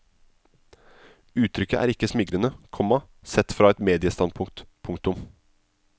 Uttrykket er ikke smigrende, komma sett fra et mediestandpunkt. punktum